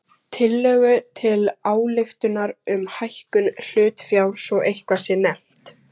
tillögu til ályktunar um hækkun hlutafjár svo eitthvað sé nefnt.